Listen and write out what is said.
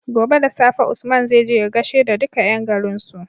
Gobe da safe Usman zai je ya gashe da duka yan garin su